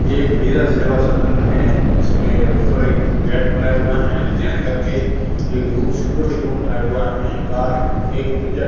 ये एक वीरा सेवा सदन है इसमें ऊपर एक गेट बनाया हुआ है करके एक रूम सिक्योरिटी रूम बनाया हुआ है बाहर एक --